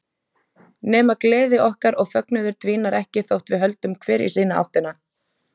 Nema gleði okkar og fögnuður dvínar ekki þótt við höldum hver í sína áttina.